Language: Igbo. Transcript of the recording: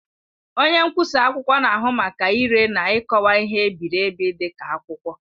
Onye nkwụsa akwụkwọ na-ahụ maka ire na ikọwa ihe e biri ebi dị ka akwụkwọ.